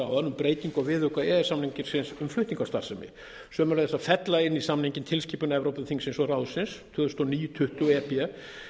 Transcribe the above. um breytingu á viðauka e e s samningsins um flutningastarfsemi sömuleiðis að fella inn í samninginn tilskipun evrópuþingsins og ráðsins tvö þúsund og níu tuttugu e b